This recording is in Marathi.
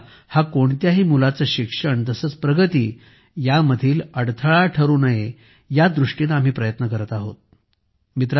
भाषा हा कोणत्याही मुलाचे शिक्षण तसेच प्रगती यांमधील अडथळा ठरू नये या दृष्टीने आम्ही प्रयत्न करत आहोत